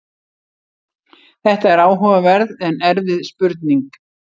Þetta er áhugaverð en erfið spurning.